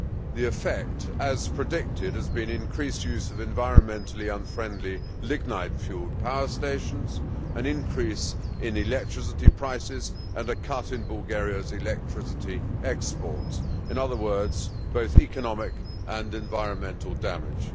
The effect, as predicted, has been increased use of environmentally unfriendly lignite fuelled power stations, an increase in electricity prices and a cut in Bulgaria's electricity exports in other words, both economic and environmental damage.